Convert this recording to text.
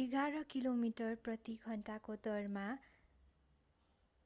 एघार किलोमिटर प्रति घन्टाको दरमा